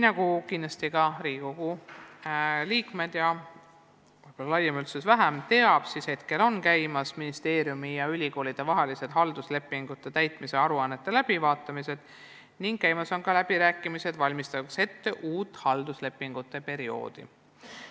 Nagu Riigikogu liikmed kindlasti teavad, laiem üldsus vahest vähem, praegu on käimas ministeeriumi ja ülikoolide vaheliste halduslepingute täitmise aruannete läbivaatamine ning ka kõnelused, valmistamaks ette uut halduslepingute perioodi.